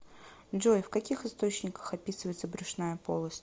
джой в каких источниках описывается брюшная полость